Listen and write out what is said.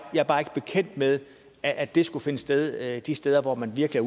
bekendt med at det skulle finde sted de steder hvor man virkelig